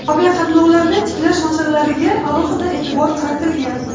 aviaqatnovlarni tiklash masalalariga alohida e’tibor qaratilgan.